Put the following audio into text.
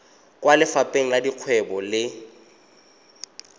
kwa lefapheng la dikgwebo le